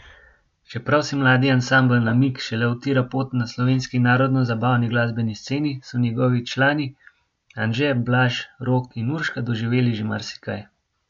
Čeprav si mladi ansambel Namig šele utira pot na slovenski narodnozabavni glasbeni sceni, so njegovi člani, Anže, Blaž, Rok in Urška, doživeli že marsikaj.